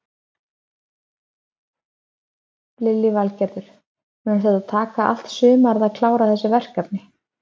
Lillý Valgerður: Mun þetta taka allt sumarið að klára þessi verkefni?